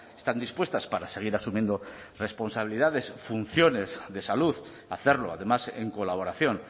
están dispuestas para seguir asumiendo responsabilidades funciones de salud hacerlo además en colaboración